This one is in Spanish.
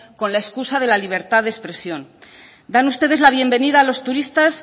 con la excusa de la libertad de expresión dan ustedes la bienvenida a los turistas